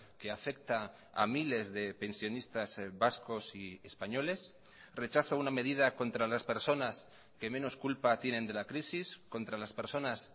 que afecta a miles de pensionistas vascos y españoles rechazo una medida contra las personas que menos culpa tienen de la crisis contra las personas